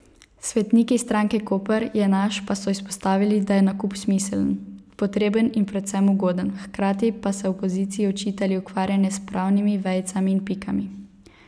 Svetniki stranke Koper je naš pa so izpostavili, da je nakup smiseln, potreben in predvsem ugoden, hkrati pa so opoziciji očitali ukvarjanje s pravnimi vejicami in pikami.